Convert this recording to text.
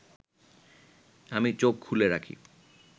আমি চোখ খুলে রাখি